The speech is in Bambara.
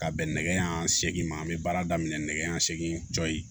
Ka bɛn nɛgɛ ɲɛ seegin ma an be baara daminɛ nɛgɛ ɲɛ segin cɔyi